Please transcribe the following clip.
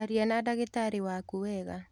Aria na dagĩtarĩwaku wega.